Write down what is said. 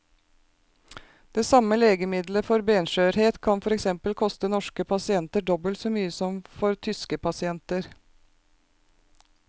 Det samme legemiddelet for benskjørhet kan for eksempel koste norske pasienter dobbelt så mye som for tyske pasienter.